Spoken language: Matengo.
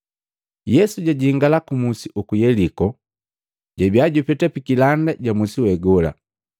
Yesu jajingala ku musi uku Yeliko, jabia jupeta pi kilanda ja musi we gola.